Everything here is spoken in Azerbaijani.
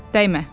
Dəymə.